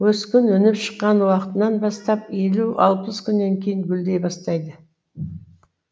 өскін өніп шыққан уақытынан бастап елу алпыс күннен кейін гүлдей бастайды